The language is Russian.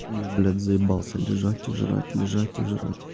я блять заебался лежать и жрать лежать и жрать